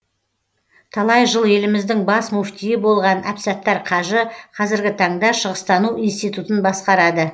талай жыл еліміздің бас мүфтиі болған әбсаттар қажы қазіргі таңда шығыстану институтын басқарады